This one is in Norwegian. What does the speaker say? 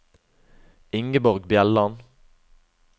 Ingeborg Bjelland